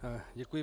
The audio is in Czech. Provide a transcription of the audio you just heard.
Děkuji.